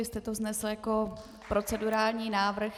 Vy jste to vznesl jako procedurální návrh.